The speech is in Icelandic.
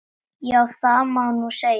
Já, það má nú segja.